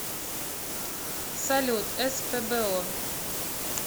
салют спбо